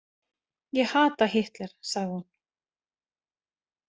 Ég hata Hitler, sagði hún.